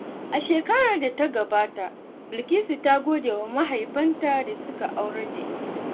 A shekarar da ta gabata, Bilkisu ta gode wa mahaifanta da suka aurar da ita.